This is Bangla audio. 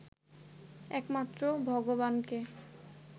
একমাত্র ভগবানকে